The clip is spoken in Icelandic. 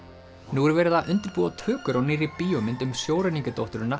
nú er verið að undirbúa tökur á nýrri bíómynd um